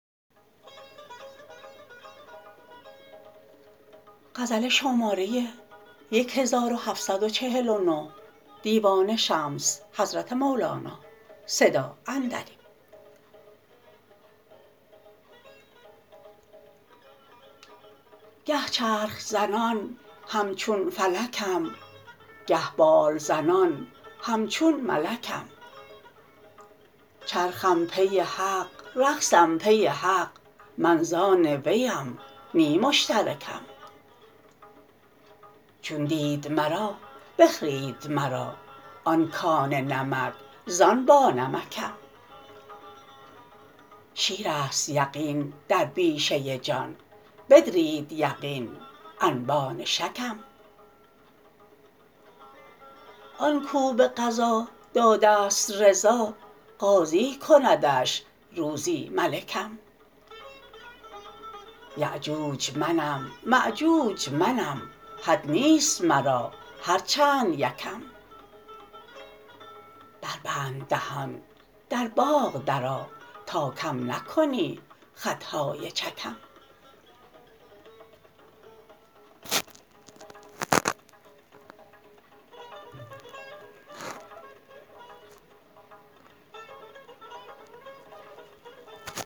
گه چرخ زنان همچون فلکم گه بال زنان همچون ملکم چرخم پی حق رقصم پی حق من زان ویم نی مشترکم چون دید مرا بخرید مرا آن کان نمک زان بانمکم شیر است یقین در بیشه جان بدرید یقین انبان شکم آن کو به قضا داده ست رضا قاضی کندش روزی ملکم یأجوج منم مأجوج منم حد نیست مرا هر چند یکم بربند دهان در باغ درآ تا کم نکنی خط های چکم